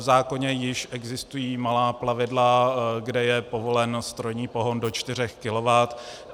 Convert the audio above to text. V zákoně již existují malá plavidla, kde je povolen strojní pohon do 4 kW.